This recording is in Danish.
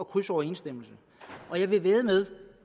krydsoverensstemmelse og jeg vil vædde med